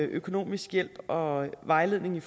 økonomisk hjælp og vejledning